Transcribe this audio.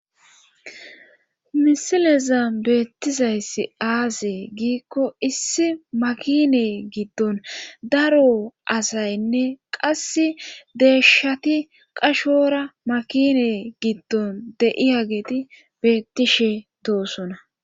Misileza beettizayssi aase giikko issi makine giddon daro asaynne qass deeshati qashora makine giddon deiya geti beettishe doosona